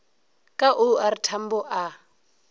ka o r tambo a